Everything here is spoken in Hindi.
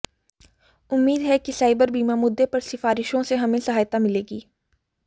उम्मीद है कि साइबर बीमा मुद्दे पर सिफारिशों से हमें सहायता मिलेगी